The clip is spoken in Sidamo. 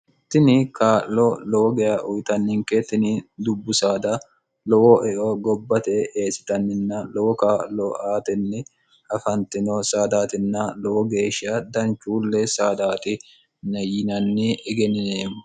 tini kaa'lo lowo geya uyitanninke tini dubbu saada lowo eo gobbate eessitanninna lowo kaa'lo aatenni afantino saadaatinna lowo geeshsha danchuulle saadaati yinanni egennineemmo